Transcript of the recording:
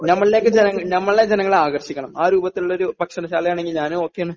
നമ്മളിലേക്ക് ജനങ്ങളെ നമ്മളിലെ ജനങ്ങളെ ആകർഷിക്കണം ആ രൂപത്തിലുള്ളൊരു ഭക്ഷണശാല ആണെങ്കിൽ ഞാനും ഒക്കെയാണ്